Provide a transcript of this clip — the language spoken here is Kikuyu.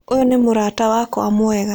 Ũyũ nĩ mũrata wakwa mwega.